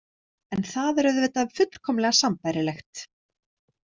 En það er auðvitað fullkomlega sambærilegt.